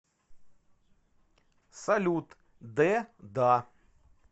салют д да